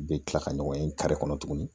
U bɛ kila ka ɲɔgɔn ye kare kɔnɔ tuguni